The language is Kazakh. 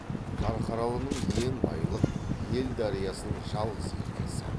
қарқаралының ен байлық ел дариясының жалғыз еркесі